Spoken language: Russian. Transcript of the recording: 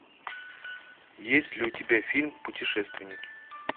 есть ли у тебя фильм путешественники